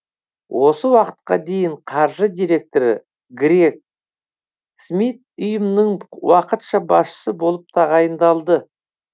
осы уақытқа дейін қаржы директоры грег смит ұйымның уақытша басшысы болып тағайындалды